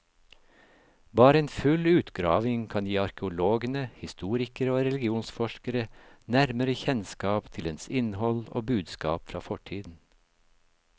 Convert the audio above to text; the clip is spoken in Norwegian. Bare en full utgravning kan gi arkeologene, historikere og religionsforskere nærmere kjennskap til dens innhold og budskap fra fortiden.